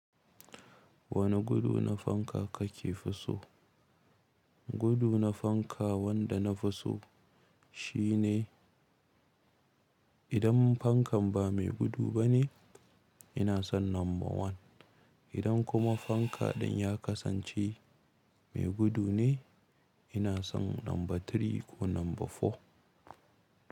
Wane gudu na fanka kake fi so? Gudu na fanka wanda na fi so shine idan fankan ba mai gudu bane ina son number one. Idan kuma fanka ɗin ya kasance mai gudu ne ina son number three ko number four.